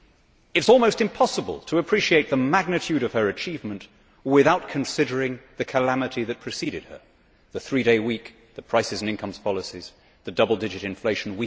It is almost impossible to appreciate the magnitude of her achievement without considering the calamity which preceded her the three day week, the prices and incomes policies and the double digit inflation.